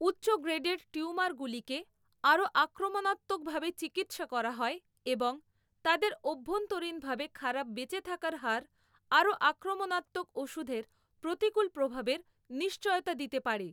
উচ্চ গ্রেডের টিউমারগুলিকে আরও আক্রমনাত্মকভাবে চিকিৎসা করা হয় এবং তাদের অভ্যন্তরীণভাবে খারাপ বেঁচে থাকার হার আরও আক্রমণাত্মক ওষুধের প্রতিকূল প্রভাবের নিশ্চয়তা দিতে পারে।